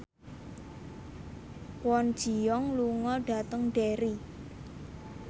Kwon Ji Yong lunga dhateng Derry